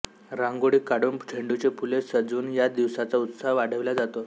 रांगोळी काढून झेंडूची फुले सजवून या दिवसाचा उत्साह वाढविला जातो